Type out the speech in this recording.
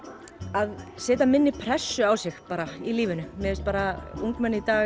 að setja minni pressu á sig í lífinu mér finnst bara ungmenni í dag